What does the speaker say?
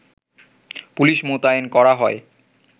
police মোতায়েন করা হয়